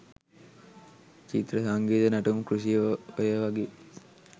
චිත්‍ර සංගීත නැටුම් කෘෂි ඔයවගේ